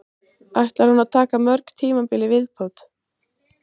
Ætlar hún að taka mörg tímabil í viðbót?